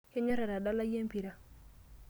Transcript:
Kenyorr atadalai empira.